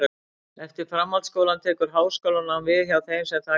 Eftir framhaldsskólann tekur háskólanám við hjá þeim sem það kjósa.